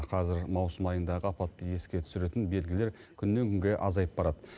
қазір маусым айындағы апатты еске түсіретін белгілер күннен күнге азайып барады